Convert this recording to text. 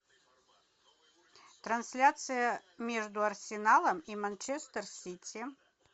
трансляция между арсеналом и манчестер сити